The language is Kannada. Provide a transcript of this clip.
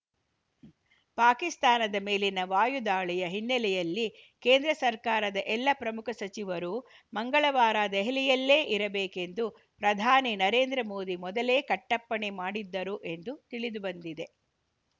ಪಾಕಿಸ್ತಾನದ ಮೇಲಿನ ವಾಯುದಾಳಿಯ ಹಿನ್ನೆಲೆಯಲ್ಲಿ ಕೇಂದ್ರ ಸರ್ಕಾರದ ಎಲ್ಲ ಪ್ರಮುಖ ಸಚಿವರೂ ಮಂಗಳವಾರ ದೆಹಲಿಯಲ್ಲೇ ಇರಬೇಕೆಂದು ಪ್ರಧಾನಿ ನರೇಂದ್ರ ಮೋದಿ ಮೊದಲೇ ಕಟ್ಟಪ್ಪಣೆ ಮಾಡಿದ್ದರು ಎಂದು ತಿಳಿದುಬಂದಿದೆ